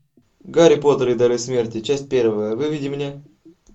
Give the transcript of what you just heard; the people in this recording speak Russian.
гарри поттер и дары смерти часть первая выведи мне